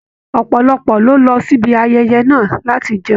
Ọpọlọpọ ló lọ sí ayẹyẹ náà láti jẹun.